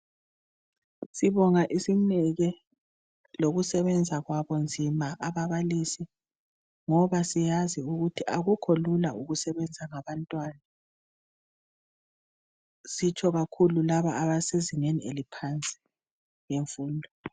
Sibonga isineke lokusebenza kwabo nzima ababalisi ngoba siyazi ukuthi akukho lula ukusebenza labantwana sitshonkakhulu laba basezingeni eliphansi lemfundo.